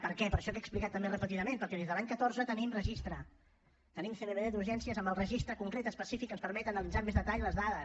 per què per això que he explicat també repetidament perquè des de l’any catorze tenim registre tenim cmbd d’urgències amb el registre concret específic que ens permet analitzar amb més detall les dades